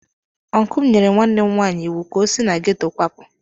Ọncụl m nyere nwanne m nwanyị iwu ka o si na ghetọ kwapụ.